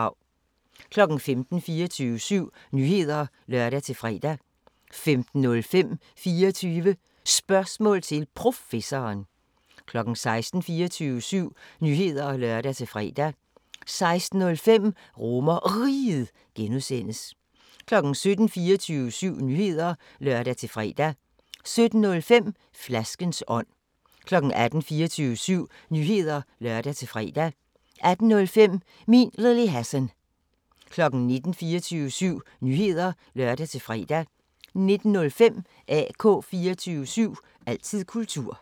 15:00: 24syv Nyheder (lør-fre) 15:05: 24 Spørgsmål til Professoren 16:00: 24syv Nyheder (lør-fre) 16:05: RomerRiget (G) 17:00: 24syv Nyheder (lør-fre) 17:05: Flaskens ånd 18:00: 24syv Nyheder (lør-fre) 18:05: Min Lille Hassan 19:00: 24syv Nyheder (lør-fre) 19:05: AK 24syv – altid kultur